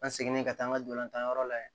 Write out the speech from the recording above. An seginnen ka taa an ka dolantanyɔrɔ la yen